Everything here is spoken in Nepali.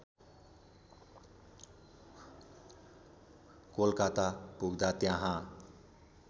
कोलकाता पुग्दा त्यहाँ